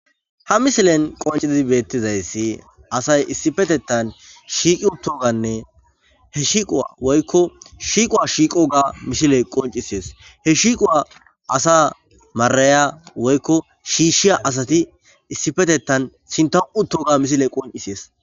Ha misilen qoncidizi beettizayssi asay issifetettan shiiqi uttoganne he shiiquwa woykko shiiquwa shiiqo ga mishile qoncisees he shiiquwa asa maraya woykko shiishiya asati issifetettan sinta utto ga misile qoncisees.